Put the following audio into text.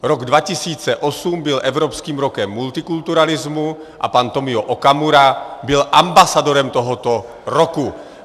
Rok 2008 byl Evropským rokem multikulturalismu a pan Tomio Okamura byl ambasadorem tohoto roku.